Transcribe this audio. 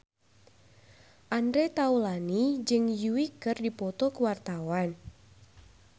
Andre Taulany jeung Yui keur dipoto ku wartawan